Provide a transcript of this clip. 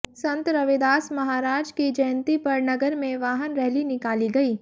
संत रविदास महाराज की जयंती पर नगर में वाहन रैली निकाली गई